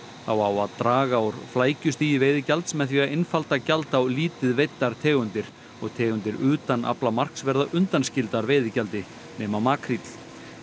á að draga úr flækjustigi veiðigjalds með því að einfalda gjald á lítið veiddar tegundir og tegundir utan aflamarks verða undanskildar veiðigjaldi nema makríll